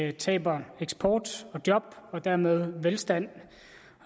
vi taber eksport og job og dermed velstand